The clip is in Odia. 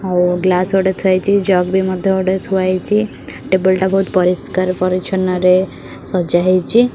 ଆଉ ଗ୍ଲାସ୍ ଗୋଟେ ଥୁଆ ହୋଇଚି ଜଗ୍ ବି ମଧ୍ଯ ଗୋଟେ ଥୁଆ ହେଇଚି ଟେବୁଲ୍ ଟା ବହୁତ ପରିଷ୍କାର ପରିଚ୍ଛନ୍ନ ରେ ସଜା ହେଇଚି।